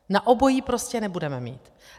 Na obojí prostě nebudeme mít.